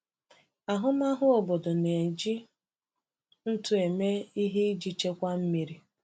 Ahụmahụ obodo na-eji ntụ eme ihe iji chekwaa mmiri.